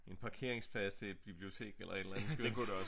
En parkeringsplads til et bibliotek eller et eller andet